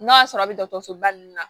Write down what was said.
N'a y'a sɔrɔ a bɛ dɔgɔtɔrɔsoba ninnu na